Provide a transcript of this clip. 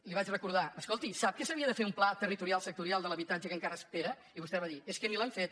li vaig re·cordar escolti sap que s’havia de fer un pla territorial sectorial de l’habitatge que encara espera i vostè va dir és que ni l’hem fet